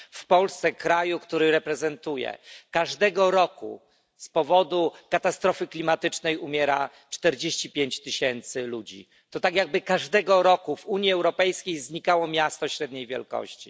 W Polsce, kraju, który reprezentuję, każdego roku z powodu katastrofy klimatycznej umiera 45 tysięcy ludzi. To tak, jakby każdego roku w Unii Europejskiej znikało miasto średniej wielkości.